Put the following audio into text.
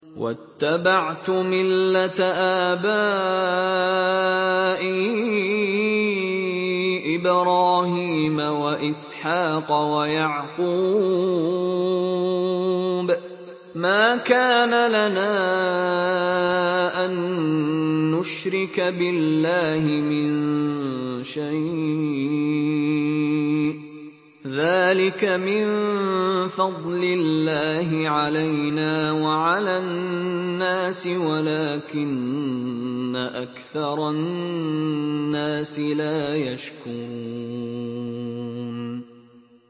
وَاتَّبَعْتُ مِلَّةَ آبَائِي إِبْرَاهِيمَ وَإِسْحَاقَ وَيَعْقُوبَ ۚ مَا كَانَ لَنَا أَن نُّشْرِكَ بِاللَّهِ مِن شَيْءٍ ۚ ذَٰلِكَ مِن فَضْلِ اللَّهِ عَلَيْنَا وَعَلَى النَّاسِ وَلَٰكِنَّ أَكْثَرَ النَّاسِ لَا يَشْكُرُونَ